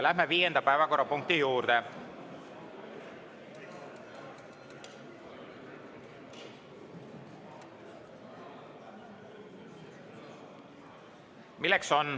Läheme viienda päevakorrapunkti juurde.